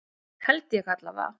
Held ég allavega.